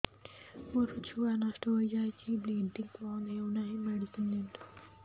ମୋର ଛୁଆ ନଷ୍ଟ ହୋଇଯାଇଛି ବ୍ଲିଡ଼ିଙ୍ଗ ବନ୍ଦ ହଉନାହିଁ ମେଡିସିନ ଦିଅନ୍ତୁ